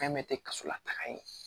Fɛn bɛɛ tɛ kaso la taga ye